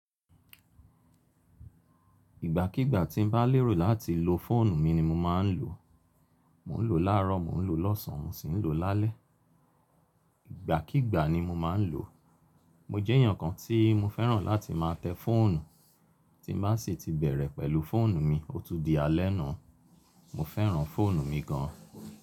Ìgbà kígbà tí n bá lérò láti lo fóònù mi ni mo máa ń lò. Mò ń lò láàárọ̀, mò ń lò lọ́sàn, mò ń sì lò lálẹ́. Ìgbà kígbà ni mo máa ń lò. Mo jẹ́ èèyàn kan tí mo fẹ́ràn láti máa tẹ́ fóònù. Tí bá sì ti bẹ̀rẹ̀ pẹ̀lú fóònù mi, ó tún di alẹ́ nu. Mo fẹ́ràn fóònù mi gan.